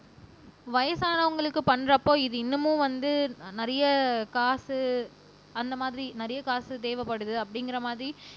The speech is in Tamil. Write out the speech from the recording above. வயசானவங்களுக்கு பண்றப்போ இது இன்னமும் வந்து நிறைய காசு அந்த மாதிரி நிறைய காசு தேவைப்படுது அப்படிங்கிற மாதிரி